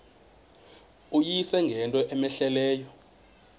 uyise ngento cmehleleyo